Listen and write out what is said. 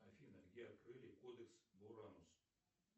афина где открыли кодекс буранус